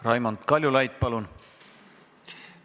Raimond Kaljulaid, palun!